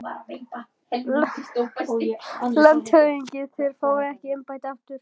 LANDSHÖFÐINGI: Þér fáið ekki embættið aftur